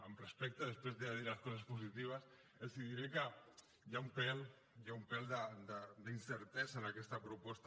amb respecte després de dir les coses positives els diré que hi ha un pèl d’incertesa en aquesta proposta